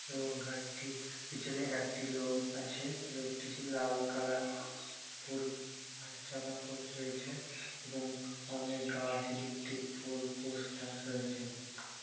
এবং গাড়িটির পিছনে একটি লোক আছে লোকটি লাল কালার ফুল জামা পড়ে রয়েছে এবং অনেক গাছ ইলেকট্রিক পোল পোস্টার রয়েছে ।